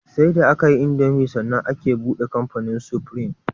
Sai da akayi indomie sannan aka buɗe kamfanin supreme